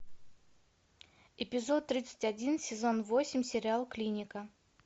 эпизод тридцать один сезон восемь сериал клиника